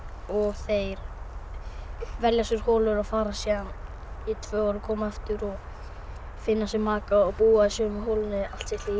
þeir velja sér holu og fara síðan í tvö ár og koma aftur og finna sér maka og búa í sömu holunni allt sitt líf